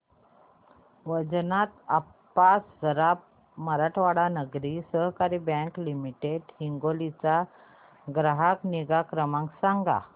Vaijnath Appa Saraf Marathwada Nagari Sahakari bank limited Hingoli चा ग्राहक निगा क्रमांक सांगा